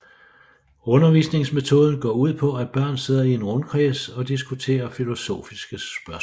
Undervisningsmetoden går ud på at børn sidder i en rundkreds og diskuterer filosofiske spørgsmål